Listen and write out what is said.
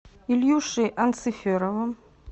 ильюшей анциферовым